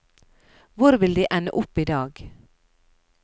Hvor vil de ende opp i dag?